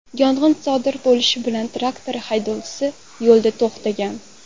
Yong‘in sodir bo‘lishi bilan traktor haydovchisi yo‘lda to‘xtagan.